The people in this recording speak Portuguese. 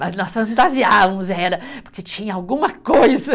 Mas nós fantasiávamos, era, porque tinha alguma coisa.